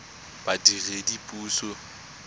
badiredipuso